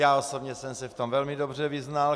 Já osobně jsem se v tom velmi dobře vyznal.